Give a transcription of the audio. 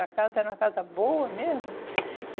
A casa era uma casa boa mesmo. E